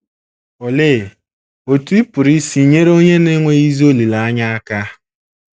Olee otú ị pụrụ isi nyere onye na - enweghịzi olileanya aka?